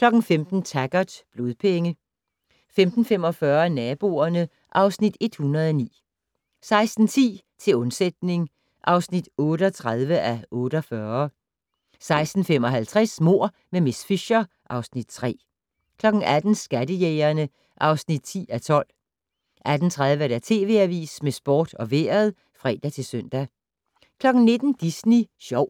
15:00: Taggart: Blodpenge 15:45: Naboerne (Afs. 109) 16:10: Til undsætning (38:48) 16:55: Mord med miss Fisher (Afs. 3) 18:00: Skattejægerne (10:12) 18:30: TV Avisen med sport og vejret (fre-søn) 19:00: Disney Sjov